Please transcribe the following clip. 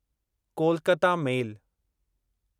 Kolkata मेल